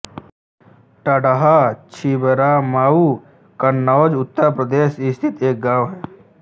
टाढ़हा छिबरामऊ कन्नौज उत्तर प्रदेश स्थित एक गाँव है